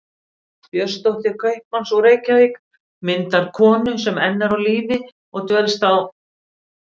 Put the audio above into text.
Björnsdóttur kaupmanns úr Reykjavík, myndarkonu sem enn er á lífi og dvelst á